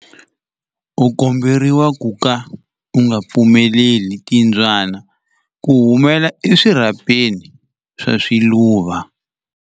U komberiwa ku ka u nga pfumeleli timbyana ku humela eswirhapeni swa swiluva.